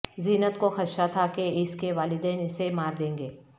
زینت کو خدشہ تھا کہ اس کے والدین اسے مار دیں گے